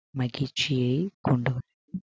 மகிழ்ச்சியை கொண்டு